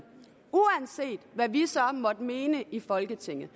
uanset hvad vi så måtte mene i folketinget